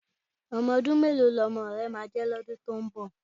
Ọmọ ọdún mélòó ni ọmọ rẹ máa jẹ́ lọ́dún tí ń bọ̀?